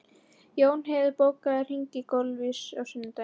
Jónheiður, bókaðu hring í golf á sunnudaginn.